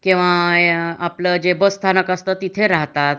किंवा आपल जे बस स्थानक तिथे राहतात